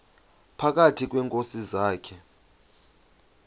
phakathi kweenkosi zakhe